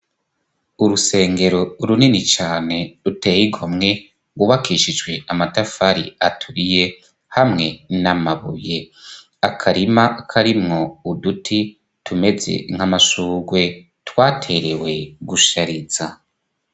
Urusengero runini cane ruteye igomwe, rwubakishijwe amatafari aturiye hamwe n'amabuye, akarima karimwo uduti tumeze nk'amashurwe twaterewe gushariza.